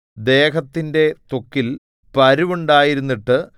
ദേഹത്തിന്റെ ത്വക്കിൽ പരുവുണ്ടായിരുന്നിട്ട്